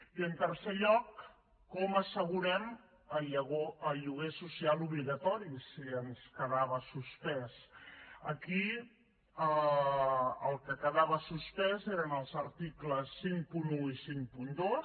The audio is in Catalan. i en tercer lloc com assegurem el lloguer social obligatori si ens quedava suspès aquí el que quedava suspès eren els articles cinquanta un i cinquanta dos